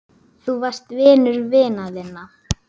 Þú varst vinur vina þinna.